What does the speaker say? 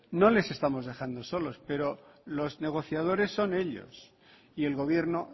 no les estamos dejando solos pero los negociadores son ellos y el gobierno